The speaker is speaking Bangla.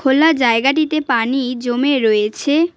খোলা জায়গাটিতে পানি জমে রয়েছে।